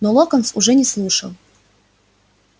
но локонс уже не слушал